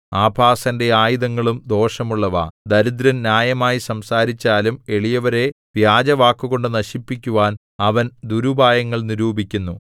ആഭാസന്റെ ആയുധങ്ങളും ദോഷമുള്ളവ ദരിദ്രൻ ന്യായമായി സംസാരിച്ചാലും എളിയവരെ വ്യാജവാക്കുകൊണ്ടു നശിപ്പിക്കുവാൻ അവൻ ദുരുപായങ്ങൾ നിരൂപിക്കുന്നു